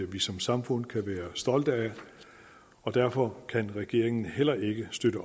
vi som samfund kan være stolte af og derfor kan regeringen heller ikke støtte